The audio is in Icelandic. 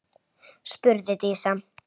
Og hún er æði.